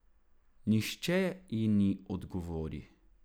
Nihče ji ne odgovori.